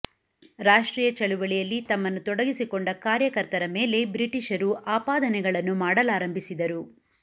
ರಾಷ್ಟ್ರೀಯ ಚಳವಳಿಯಲ್ಲಿ ತಮ್ಮನ್ನು ತೊಡಗಿಸಿಕೊಂಡ ಕಾರ್ಯಕರ್ತರ ಮೇಲೆ ಬ್ರಿಟಿಷರು ಆಪಾದನೆಗಳನ್ನು ಮಾಡಲಾರಂಭಿಸಿದರು